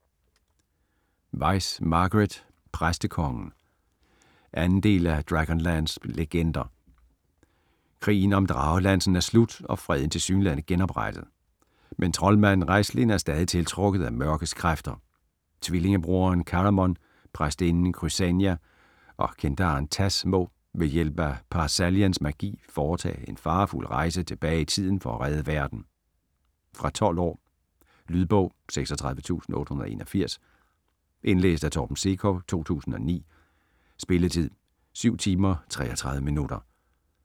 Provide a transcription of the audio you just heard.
Weis, Margaret: Præstekongen 2. del af Dragonlance legender. Krigen om Dragelansen er slut og freden tilsyneladende genoprettet. Men troldmanden Raistlin er stadig tiltrukket af mørkets kræfter. Tvillingebroderen Caramon, præstinden Crysania og kendaren Tas må - ved hjælp af Par-Salians magi - foretage en farefuld rejse tilbage i tiden for at redde verden. Fra 12 år. Lydbog 36881 Indlæst af Torben Sekov, 2009. Spilletid: 7 timer, 33 minutter.